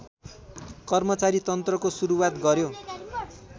कर्मचारीतन्त्रको सुरुवात गर्‍यो